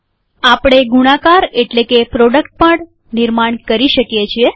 આપણે ગુણાકાર એટલે કે પ્રોડક્ટ પણ નિર્માણ કરી શકીએ છીએ